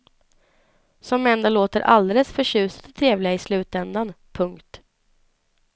Som ändå låter alldeles förtjusande trevliga i slutändan. punkt